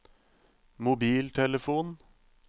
mobiltelefon